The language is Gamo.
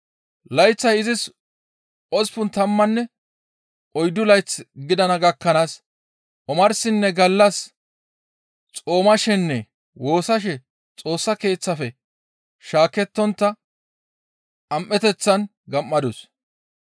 Layththay izis osppun tammanne oyddu layth gidana gakkanaas omarsinne gallas xoomashenne woossashe Xoossa Keeththafe shaakettontta am7eteththan gam7adus.